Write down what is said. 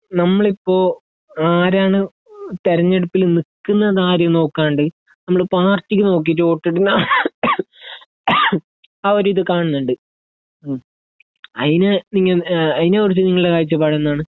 ഈ നമ്മളിപ്പോ ആരാണ് തിരഞ്ഞെടുപ്പില് നിക്കുന്നത് ആര് നോക്കാണ്ട് നമ്മള് പാർട്ടിനെ നോക്കീറ്റ് വോട്ടിടുന്ന ആ ഒരു ഇത് കാണുന്നുണ്ട് അതിന് നിങ്ങ അതിനെകുറിച്ച് നിങ്ങളുടെ കാഴ്ചപ്പാട് എന്താണ്